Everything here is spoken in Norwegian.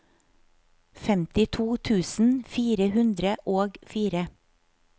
femtito tusen fire hundre og fire